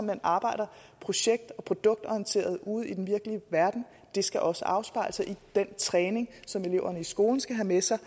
man arbejder projekt og produktorienteret ude i den virkelige verden og det skal også afspejle sig i den træning som eleverne i skolen skal have med sig